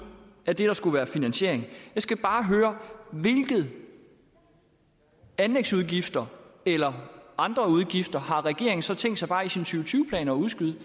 af det der skulle være finansiering jeg skal bare høre hvilke anlægsudgifter eller andre udgifter har regeringen så tænkt sig at udskyde